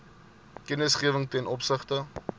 kennisgewing ten opsigte